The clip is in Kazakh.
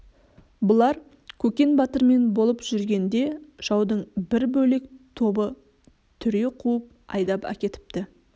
бұлар көкен батырмен болып жүргенде жаудың бір бөлек тобы түре қуып айдап әкетіпті